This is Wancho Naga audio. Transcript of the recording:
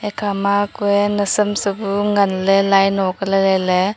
khama kuye nausam sa bu ngan le laino ko lailai le.